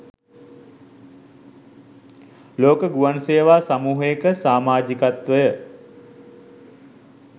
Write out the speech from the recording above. ලෝක ගුවන් සේවා සමූහයක සාමාජිකත්වය